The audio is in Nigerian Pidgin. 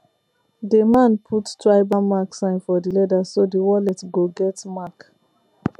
the man put tribal mark sign for the leather so the wallet go get mark